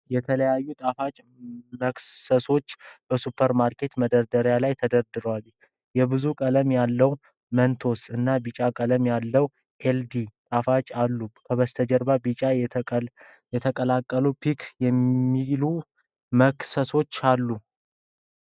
የተለያዩ ጣፋጭ መክሰሶች በሱፐር ማርኬት መደርደሪያ ላይ ተደርድረዋል፡፡ የብዙ ቀለም ያለው "መንቶስ" እና ቢጫ ቀለም ያለው "ኤልዲ" ጣፋጮች አሉ፡፡ ከበስተጀርባው በቢጫ የተጠቀለሉ "ፒክ" የሚሉ መክሰሶች አሉ፡፡